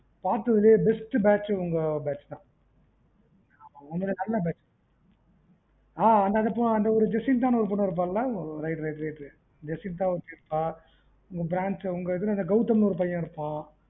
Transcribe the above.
பாத்ததுலேய best batch உங்க batch தான் ஆமா ரொம்ப நல்ல batch ஆ jessintha ஒரு பொண்ணு இருப்பாள right right Gowtham ஒரு பையன் இருப்பான்